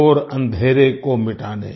घोर अंधेरे को मिटाने